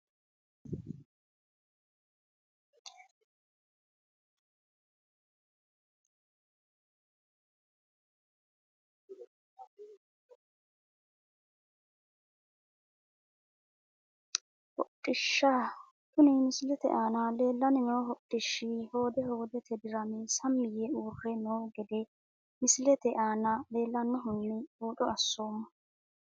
Hodhishsha kuni misilete aana leelani noo hodhishshi hoode hoodete dirame sami yeee uure noo gede misilete aana lanoonihuni buuxo asomo.